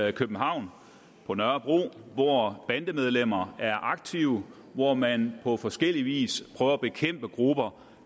i københavn på nørrebro hvor bandemedlemmer er aktive og hvor man på forskellig vis prøver at bekæmpe grupper